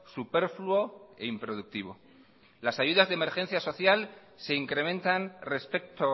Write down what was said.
superfluo e improductivo las ayudas de emergencia social se incrementan respecto